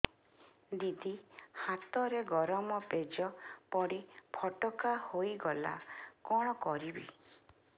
ଦିଦି ହାତରେ ଗରମ ପେଜ ପଡି ଫୋଟକା ହୋଇଗଲା କଣ କରିବି